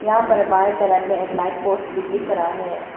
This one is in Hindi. यहां मे बाएं तरफ में एक लाइट पोस्ट भी दिख रहा है।